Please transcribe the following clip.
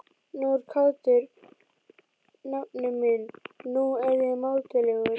Nú er kátur nafni minn, nú er ég mátulegur.